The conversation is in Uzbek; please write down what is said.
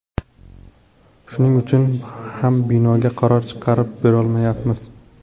Shuning uchun ham binoga qaror chiqarib berolmayapmiz.